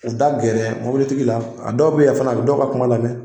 U da gɛrɛ mobilitigi la a dɔw bɛ yen fana a bɛ dɔw ka kuma lamɛn